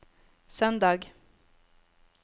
søndag